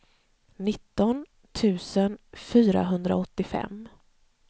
nitton tusen fyrahundraåttiofem